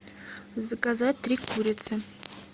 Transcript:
заказать три курицы